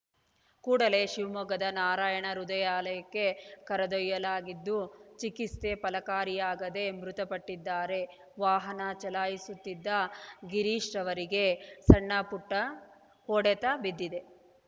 ಕೂಡಲೇ ಶಿವಮೊಗ್ಗದ ನಾರಾಯಣ ಹೃದಯಾಲಯಕ್ಕೆ ಕರೆದೊಯ್ಯಲಾಗಿದ್ದು ಚಿಕಿತ್ಸೆ ಫಲಕಾರಿಯಾಗದೆ ಮೃತಪಟ್ಟಿದ್ದಾರೆ ವಾಹನ ಚಲಾಯಿಸುತ್ತಿದ್ದ ಗಿರೀಶರವರಿಗೆ ಸಣ್ಣಪುಟ್ಟಹೊಡೆತ ಬಿದ್ದಿದೆ